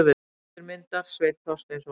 Höfundur myndar: Sveinn Þorsteinsson.